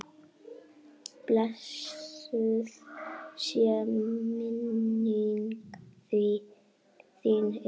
Blessuð sé minning þín, Eyþór.